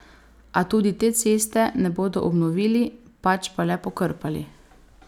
A tudi te ceste ne bodo obnovili, pač pa le pokrpali.